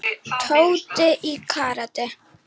Tóti í karate.